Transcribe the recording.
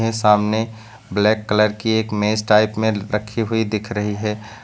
सामने black colour की एक मेज़ टाइप में रखी हुई दिख रही है।